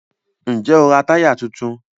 Ǹjẹ́ o ra táyà tuntun?